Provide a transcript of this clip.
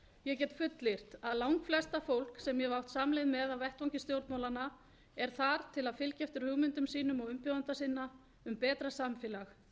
ég get fullyrt að langflest það fólk sem ég hef átt samleið með á vettvangi stjórnmálanna er þar til að fylgja eftir hugmyndum sínum og umbjóðenda sinna um betra samfélag